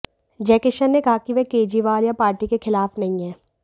जयकिशन ने कहा कि वह केजरीवाल या पार्टी के खिलाफ नहीं हैं